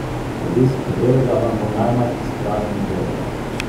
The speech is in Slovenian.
Obisk katerega vam bo najmanj izpraznil žepe?